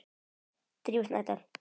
Drífa Snædal.